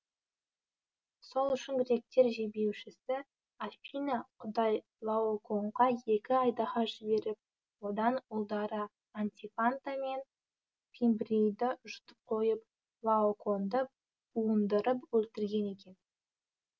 сол үшін гректер жебеушісі афина құдай лаокоонға екі айдаһар жіберіп оны ұлдары антифанта мен фимбрейді жұтып қойып лаокоонды буындырып өлтірген екен